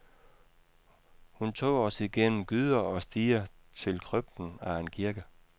Hun tog os igennem gyder og stier til krypten af en kirke.